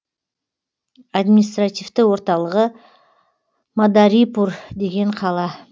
административті орталығы мадарипур деген қала